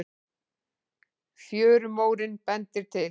Fjörumórinn bendir til